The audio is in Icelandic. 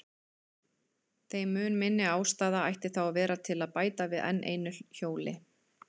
Þeim mun minni ástæða ætti þá að vera til að bæta við enn einu hjóli.